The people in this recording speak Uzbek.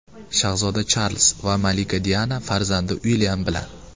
Shahzoda Charlz va malika Diana farzandi Uilyam bilan.